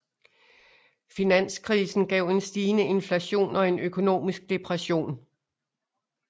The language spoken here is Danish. Finanskrisen gav en stigende inflation og en økonomisk depression